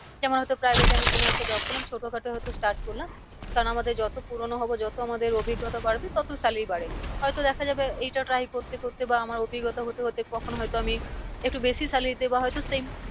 যেমন হয় তো private এ আমি কোনো একটা job করলাম ছোটো খাটো হয় তো start করলাম। কারণ আমাদের যত পুরোনো হবো যত আমাদের অভিজ্ঞতা বাড়বে তত Salary বাড়ে। হয় তো দেখা যাবে এইটা try করতে করতে বা আমার অভিজ্ঞতা হতে হতে কখন হয়তো আমি একটু বেশি salary তে বা হয় তো same